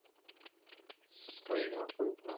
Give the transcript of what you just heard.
புரியுது அண்ணா புரியுது அண்ணா.